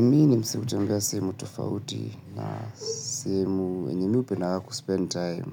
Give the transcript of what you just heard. Mi ni msee hutembea sehemu tofauti na sehemu, yenye mi upendaga kuspend time